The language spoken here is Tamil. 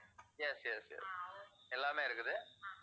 yes, yes, yes எல்லாமே இருக்குது.